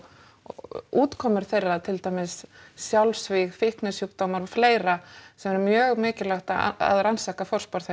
og útkomur þeirra til dæmis sjálfsvíg fíknisjúkdómar og fleira sem er mjög mikilvægt að rannsaka